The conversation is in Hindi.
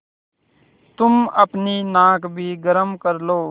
तुम अपनी नाक भी गरम कर लो